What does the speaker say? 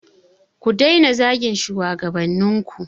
Ku daina zagin shugabannin ku.